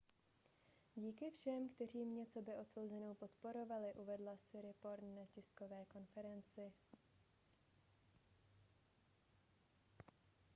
díky všem kteří mě coby odsouzenou podporovali uvedla siriporn na tiskové konferenci